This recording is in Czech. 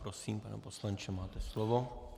Prosím, pane poslanče, máte slovo.